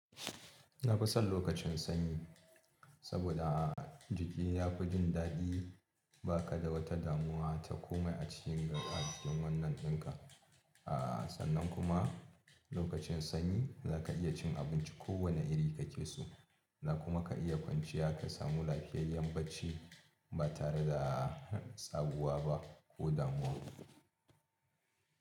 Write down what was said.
Na fi son lokacin sanyi, soboda jiki ya fi jin dadi, ba ka da wata damuwa ta komai acikin jiki. A sannan kuma lokacin sanyi za ka iya cin abinci ko wane iri ka ke so, da kuma ka iya kwanciya ka samu lafiyayyen barci ba tare da tsaguwa ba, ko damuwa.